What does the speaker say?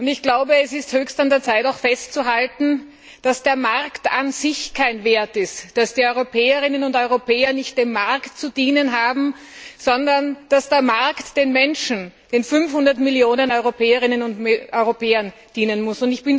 Ich glaube, es ist höchste Zeit festzuhalten, dass der Markt an sich kein Wert ist, dass die Europäer und Europäerinnen nicht dem Markt zu dienen haben, sondern dass der Markt den Menschen, den 500 Millionen Europäern und Europäerinnen dienen muss.